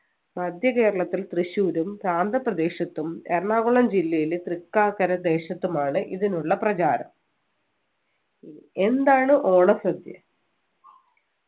മധ്യകേരളത്തിൽ തൃശൂരും പ്രാന്ത പ്രദേശത്തും എറണാകുളം ജില്ലയിലെ തൃക്കാക്കര ദേശത്തുമാണ് ഇതിനുള്ള പ്രചാരം എന്താണ് ഓണസദ്യ